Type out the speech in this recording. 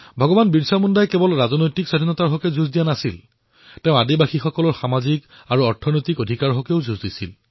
ভগৱান বিৰছা মুণ্ডাই কেৱল ইংৰাজৰ সৈতে ৰাজনৈতিক স্বতন্ত্ৰতাৰ বাবে সংঘৰ্ষ কৰিছিল এনে নহয় তেওঁ আদিবাসীসকলৰ বাবে সামাজিক আৰু আৰ্থিক অধিকাৰৰ বাবে যুঁজ কৰিছিল